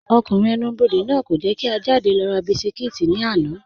Ọkùnrin ẹ̀nù-bọdẹ̀ náà kò jẹ́ kí à jádẹ̀ lọ rà bísikítì lána.